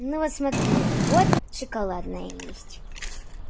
ну вот смотри вот шоколадное есть